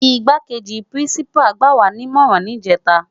Igbákéji Pirinsipá gbáwá ni imòrán nijètá